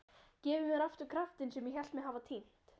Gefið mér aftur kraftinn sem ég hélt mig hafa týnt.